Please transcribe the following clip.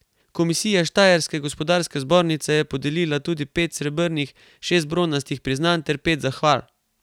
Komisija Štajerske gospodarske zbornice je podelila tudi pet srebrnih, šest bronastih priznanj ter pet zahval.